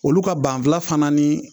Olu ka banfula fana ni